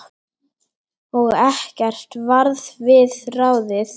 Og ekkert varð við ráðið.